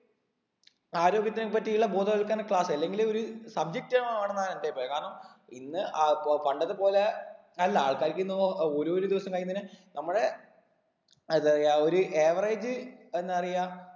ആരോഗ്യത്തിനെ പറ്റിയുള്ള ബോധവൽക്കരണ class അല്ലെങ്കില് ഒര് subject ആവണം എന്നാണ് എൻ്റെ അഭിപ്രായം കാരണം ഇന്ന് അഹ് പൊ പണ്ടത്തെ പോലെ അല്ല ആൾക്കാർക്ക് ഇന്ന് ഒ ഓരോരോ ദിവസം കഴിയുന്നതിനെ നമ്മടെ അതായ ഒരു average എന്താ പറയാ